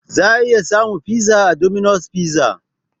Za a iya samun fiza a 'Dominos Fiza'